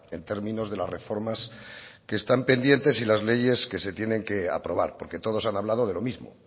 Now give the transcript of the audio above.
en términos de las reformas que están pendientes y las leyes que se tienen que aprobar porque todos han hablado de lo mismo